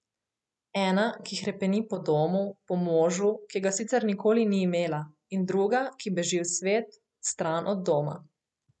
Ena, ki hrepeni po domu, po možu, ki ga sicer nikoli ni imela, in druga, ki beži v svet, stran od doma.